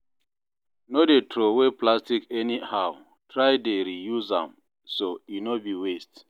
no dey throway plastic anyhow, try dey re-use am as e no bi waste